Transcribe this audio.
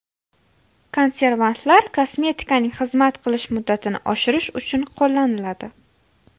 Konservantlar kosmetikaning xizmat qilish muddatini oshirish uchun qo‘llaniladi.